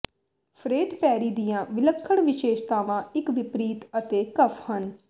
ਫਰੇਡ Perry ਦੀਆਂ ਵਿਲੱਖਣ ਵਿਸ਼ੇਸ਼ਤਾਵਾਂ ਇੱਕ ਵਿਪਰੀਤ ਅਤੇ ਕਫ਼ ਹਨ